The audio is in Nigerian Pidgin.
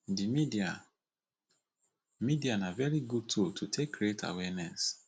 di media media na very good tool to take create awareness